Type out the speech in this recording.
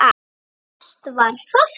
Sætt var það.